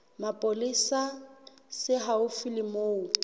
mapolesa se haufi le moo